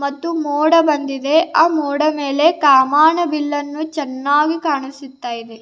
ಮತ್ತು ಮೋಡ ಬಂದಿದೆ ಆ ಮೋಡ ಮೇಲೆ ಕಾಮನಬಿಲ್ಲುನ್ನು ಚೆನ್ನಾಗಿ ಕಾಣಿಸುತ್ತಿದೆ.